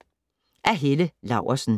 Af Helle Laursen